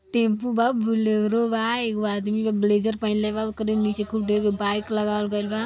Tempo बा Bolero बा एगो अदमी बा ब्लैज़र पहेनले बा ओकरी नीचे खूब ढेर के बाइक लगवाल बा।